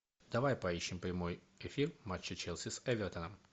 давай поищем прямой эфир матча челси с эвертоном